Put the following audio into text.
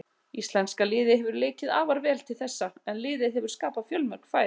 Íslenska liðið hefur leikið afar vel til þessa en liðið hefur skapað fjölmörg færi.